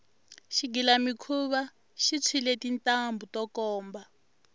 xigilamikhuva xi tshwile tintambhu to komba